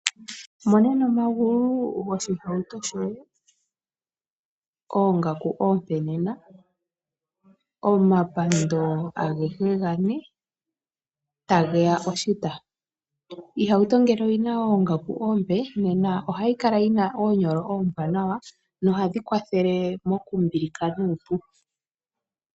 Mo nena omagulu goshihauto shoye oongaku oompe nena omapando agehe gane, tage ya oshita. Iihauto ngele oyina oongaku oompe nena ohayi kala yi na oonyolo oombwanawa nohadhi kwathele mokumbilika nuupu.